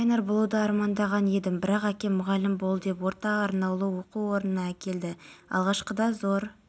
оңтүстік қазақстан қарағанды күндіз қызылорда атырау батыс қазақстан ақтөбе облыстарының кей жерлерінде жел болады қызылорда облысында